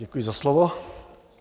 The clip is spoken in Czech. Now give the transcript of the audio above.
Děkuji za slovo.